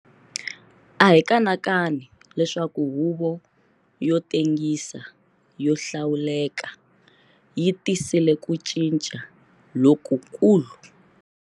A hi kanakani leswaku Huvo yo Tengisa yo Hlawuleka yi tisile ku cinca lokukulu.